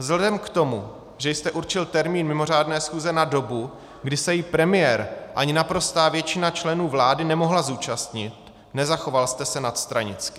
Vzhledem k tomu, že jste určil termín mimořádné schůze na dobu, kdy se jí premiér ani naprostá většina členů vlády nemohla zúčastnit, nezachoval jste se nadstranicky.